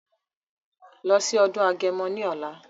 Lọ sí ọdún agẹmọ ní ọ̀la!